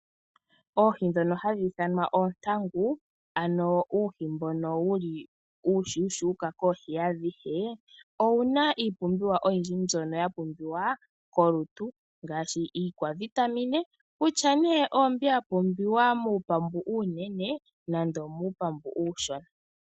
Oohi dhoka hadhi ithanwa toontangu, ano uuhi mboka wuli uushushuka koohi adhihe, owuna iipumbiwa ayihe mbyoka ya pumbiwa molutu, ngashi iikwavitamine, kutya ne ombi ya pumbiwa muupambu uunene nando omupambu uushona.